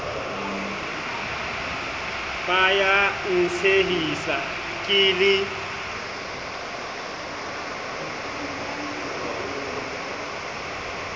ba ya ntshehisa ke le